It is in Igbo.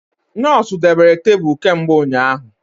Nọọsụ debere tebụl kemgbe ụnyaahụ